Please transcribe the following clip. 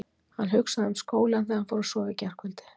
Hann hugsaði um skólann þegar hann fór að sofa í gærkvöldi.